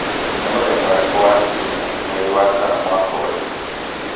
Nĩ mũthenya ũrĩkũ wa kiumia mweri wa kana mwaka ũyũ?